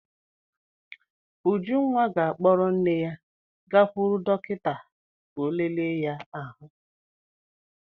Ujunwa ga-akpọrọ nne ya gakwuru dọkịta ka ọ lele ya ahụ.